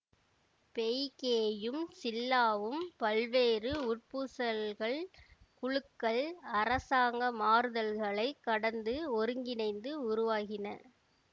பெய்க்கேயும் சில்லாவும் பல்வேறு உட்பூசல்கள் குழுக்கள் அரசாங்க மாறுதல்களைக் கடந்து ஒருங்கிணைந்து உருவாகின